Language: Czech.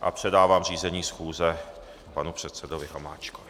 A předávám řízení schůze panu předsedovi Hamáčkovi.